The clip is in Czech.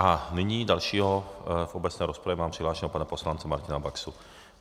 A nyní dalšího v obecné rozpravě mám přihlášeného pana poslance Martina Baxu.